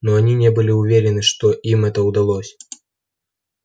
но они не были уверены что им это удалось